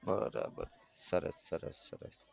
બરાબર સરસ બરાબર સરસ સરસ સરસ